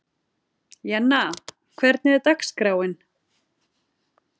Jenna, hvernig er dagskráin?